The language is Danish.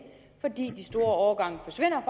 fordi de store årgange forsvinder